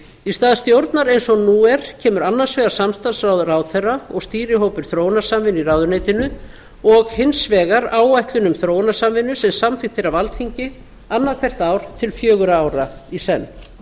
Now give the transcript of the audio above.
í stað stjórnar eins og nú er kemur annars vegar samstarfsráð ráðherra og stýrihópur þróunarsamvinnu í ráðuneytinu og hins vegar áætlun um þróunarsamvinnu sem samþykkt er af alþingi annað hvert ár til fjögurra ára í senn